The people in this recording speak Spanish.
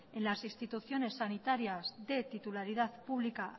en las instituciones sanitarias de titularidad pública